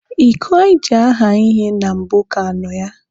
Iko anyị ji aha ihe na mbụ ka nọ ya.